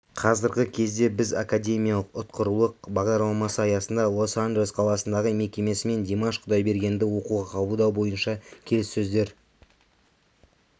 қазіргі кезде біз академиялық ұтқырлық бағдарламасы аясында лос-анджелес қаласындағы мекемесімен димаш кұдайбергенді оқуға қабылдау бойынша келіссөздер